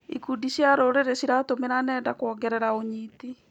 Ikundi cia rũrĩrĩ ciratũmĩra nenda kuongerera ũnyiti.